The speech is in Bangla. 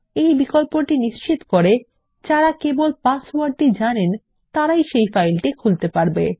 এই বিকল্পটি নিশ্চিত করে যারা কেবল পাসওয়ার্ডটি জানেন তারাই সেই ফাইলটি খুলতে পারবেন